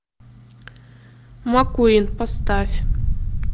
маккуин поставь